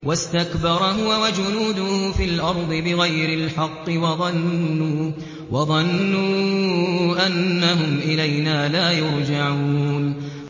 وَاسْتَكْبَرَ هُوَ وَجُنُودُهُ فِي الْأَرْضِ بِغَيْرِ الْحَقِّ وَظَنُّوا أَنَّهُمْ إِلَيْنَا لَا يُرْجَعُونَ